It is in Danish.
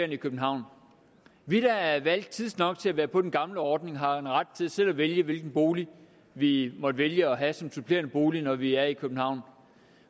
i københavn vi der er valgt tidsnok til at være på den gamle ordning har jo en ret til selv at vælge hvilken bolig vi måtte vælge at have som supplerende bolig når vi er i københavn